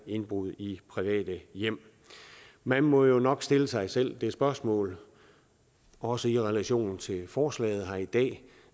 indbrud i private hjem man må jo nok stille sig selv det spørgsmål også i relation til forslaget her i dag